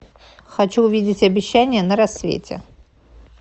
хочу увидеть обещание на рассвете